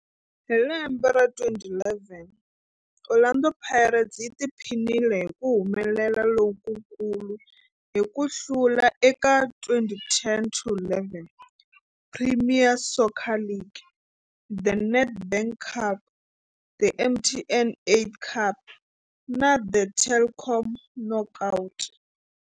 Hi lembe ra 2011, Orlando Pirates yi tiphinile hi ku humelela lokukulu hi ku hlula eka 2010-11 Premier Soccer League, The Nedbank Cup, The MTN 8 Cup na The Telkom Knockout.